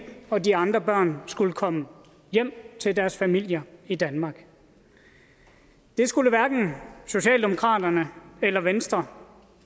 og de andre børn skulle komme hjem til deres familier i danmark det skulle hverken socialdemokraterne eller venstre